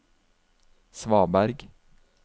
svaberg